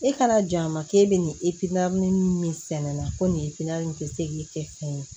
E ka na jɔ a ma k'e bɛ nin min sɛnɛ ko nin nin tɛ se k'i kɛ fɛn ye